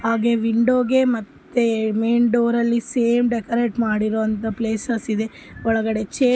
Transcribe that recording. ಹಾಗೆ ವಿಂಡೋಗೆ ಮತ್ತೆ ಮೇನ್ ಡೋರ್ ಆಲ್ಲಿ ಸೇಮ ಡೆಕೋರೇಟ್ ಮಾಡಿರುವಂತಹ ಪ್ಲೇಸಸ್ ಇದೆ ಒಳಗಡೆ ಚೇರ್ --